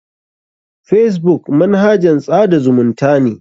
Facebook manahajn tsada zumunta ne.